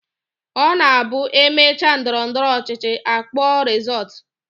Ọ na-abụ e mechaa ndọrọndọrọ ọchịchị, a kpọọ rịzọọtụ